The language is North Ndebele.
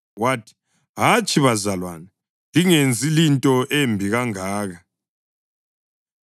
wathi, “Hatshi, bazalwane. Lingenzi linto embi kangaka.